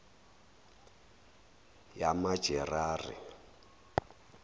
yamajerari